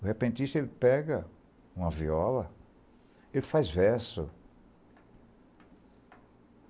O repentista pega uma viola e faz verso.